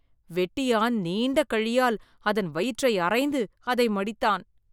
வெட்டியான் நீண்ட கழியால் அதன் வயிற்றை அறைந்து அதை மடித்தான்.